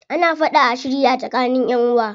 Ana fada a shirya tsakanin ƴanʼuwa.